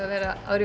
áður